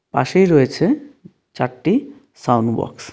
পাশেই রয়েছে চারটি সাউন্ড বক্স .